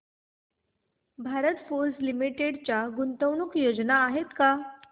Bharat Forge Limited च्या गुंतवणूक योजना आहेत का